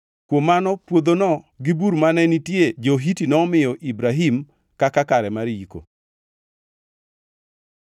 Kuom mano puodhono gi bur mane nitie jo-Hiti nomiyo Ibrahim kaka kare mar yiko.